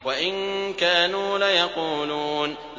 وَإِن كَانُوا لَيَقُولُونَ